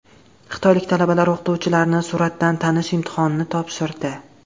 Xitoylik talabalar o‘qituvchilarni suratdan tanish imtihonini topshirdi.